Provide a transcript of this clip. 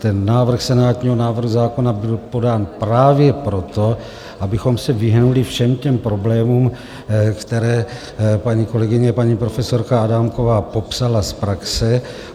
Ten návrh senátního návrhu zákona byl podán právě proto, abychom se vyhnuli všem těm problémům, které paní kolegyně, paní profesorka Adámková, popsala z praxe.